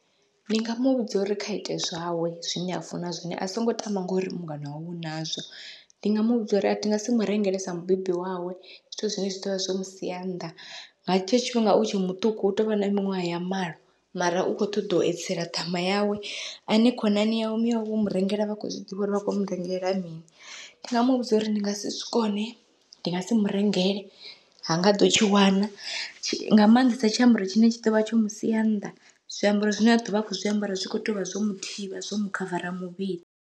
Ndi nga muvhudza uri kha ite zwawe zwine a funa zwone, a songo tama ngori mungana wawe u nazwo ndi nga muvhudza uri athi ngasi murengele sa mubebi wawe zwithu zwine zwi ḓovha zwo musia nnḓa nga hetsho tshifhinga utshe muṱuku u tovha na miṅwaha ya malo, mara u kho ṱoḓa u edzisela ṱhama yawe ane khonani yawe miyawe vho murengela vha khou zwiḓivha uri vha khou murengelela mini, ndi nga muvhudza uri ndi ngasi zwikone ndi ngasi murengele ha ngaḓo tshi wana, nga maanḓesa tshiambaro tshine tshi ḓovha tsho musia nnḓa zwiambaro zwine a ḓovha a kho zwiambara zwi kho tea uvha zwo muthivha zwo mukhavara muvhili.